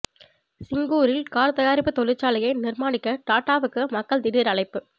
சிங்கூரில் car தயாரிப்பு தொழிற்சாலையை நிர்மானிக்க டாடாவுக்கு மக்கள் திடீர் அழைப்பு